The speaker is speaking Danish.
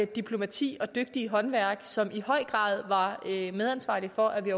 diplomati og dygtige håndværk som i høj grad var medansvarlig for at vi